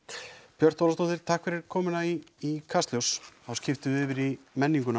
Björt Ólafsdóttir takk fyrir komuna í Kastljós þá skiptum við yfir í menninguna